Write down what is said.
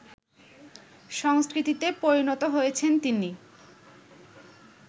সংস্কৃতিতে পরিণত হয়েছেন তিনি